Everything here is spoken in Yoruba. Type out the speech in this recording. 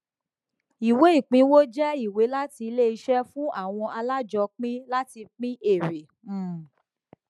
ìwé ìpínwó jẹ ìwé láti ilé iṣẹ fún àwọn alájọpin láti pín èèrè um